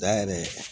Da yɛrɛ